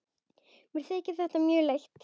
Mér þykir þetta mjög leitt.